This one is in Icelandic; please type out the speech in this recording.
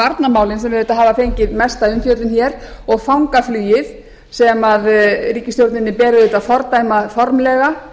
varnarmálin sem auðvitað hafa fengið mesta umfjöllun hér og fangaflugið sem ríkisstjórninni ber auðvitað að fordæma formlega